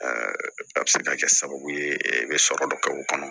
a bɛ se ka kɛ sababu ye bɛ sɔrɔ dɔ kɛ o kɔnɔ